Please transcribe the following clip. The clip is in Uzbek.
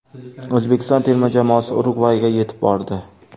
O‘zbekiston terma jamoasi Urugvayga yetib bordi.